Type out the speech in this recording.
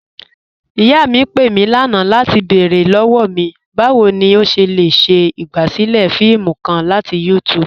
Iyà mí pé mí lánà latí bẹ̀ẹ̀rẹ̀ lọ́wọ́ mí, báwo ni o ṣé le ṣe igbásílẹ̀ fíìmù kàn latí YouTube.